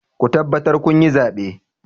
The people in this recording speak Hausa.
Ku tabbatar kun yi zaɓe!